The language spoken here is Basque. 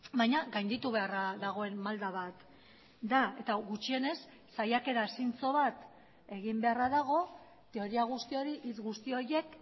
baina gainditu beharra dagoen malda bat da eta gutxienez saiakera zintzo bat egin beharra dago teoria guzti hori hitz guzti horiek